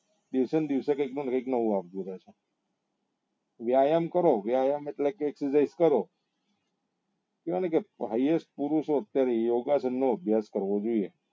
દિવસે ને દિવસે કાઈક ને કાઈક નવું આવતું રહે છે વ્યાયામ કરો વ્યાયામ એટલે કે કરો કેવાય છે ને કે પુરુષો અત્યારે યોગાસન નો અભ્યાસ કરવો જોઈએ